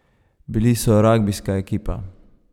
Bili so ragbijska ekipa.